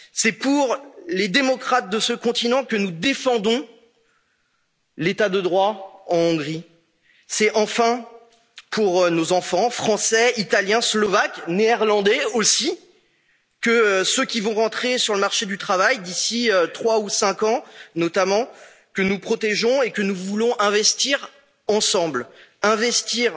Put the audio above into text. C'est pour les démocrates de ce continent que nous défendons l'État de droit en Hongrie. C'est, enfin, pour nos enfants français, italiens, slovaques, néerlandais aussi, ceux qui vont entrer sur le marché du travail d'ici trois ou cinq ans, notamment, que nous protégeons et que nous voulons investir ensemble.